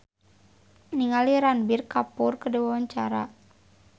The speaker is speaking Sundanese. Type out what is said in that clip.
Chand Kelvin olohok ningali Ranbir Kapoor keur diwawancara